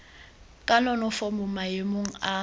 ka nonofo mo maemong a